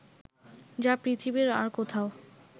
যা পৃথিবীর আর কোথাও